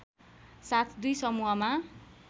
साथ दुई समूहमा